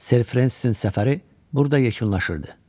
Ser Fransenin səfəri burda yekunlaşırdı.